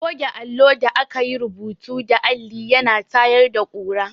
Goge allo da aka yi rubutu da alli ya na tayar da ƙura.